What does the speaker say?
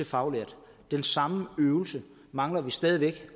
faglærte den samme øvelse mangler vi stadig væk